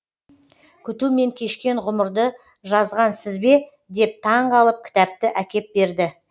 күтумен кешкен ғұмырды жазған сіз бе деп таңғалып кітапты әкеп берді